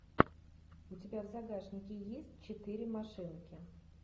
у тебя в загашнике есть четыре машинки